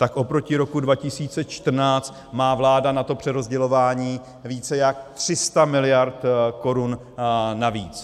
Tak oproti roku 2014 má vláda na to přerozdělování více jak 300 mld. korun navíc.